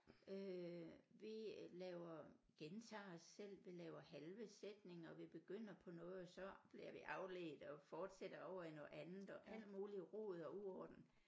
Øh vi laver gentager os selv vi laver halve sætninger vi begynder på noget og så bliver vi afledt og fortsætter over i noget andet og alt muligt rod og uorden